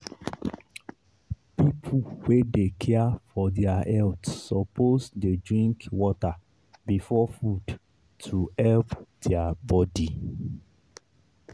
people wey dey care for their health suppose dey drink water before food to help their body.